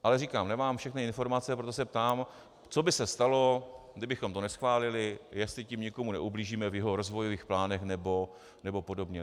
Ale říkám, nemám všechny informace, proto se ptám, co by se stalo, kdybychom to neschválili, jestli tím někomu neublížíme v jeho rozvojových plánech nebo podobně.